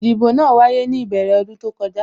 Ìdìbò náà wáyé ní ìbẹ̀rẹ̀ ọdún tó kọjá